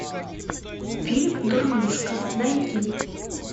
фильм дурнушка найди